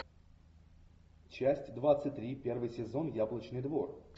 часть двадцать три первый сезон яблочный двор